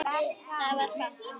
Það var fátt.